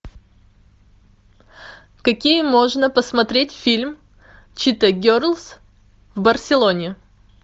какие можно посмотреть фильм чита герлс в барселоне